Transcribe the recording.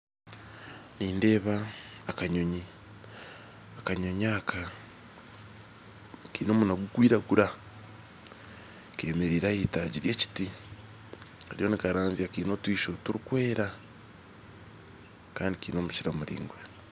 Nindeeba akanyonyi akanyonyi aka Kaine omunwa gukwiragura kemereire aha itagi ry'ekiti kariyo nikaranzya kaine otwisho turukwera Kandi kaine omukira muraingwa.